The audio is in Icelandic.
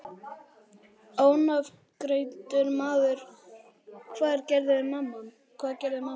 Ónafngreindur maður: Hvað gerði mamman?